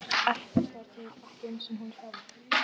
Ekkert var til, ekki einu sinni hún sjálf.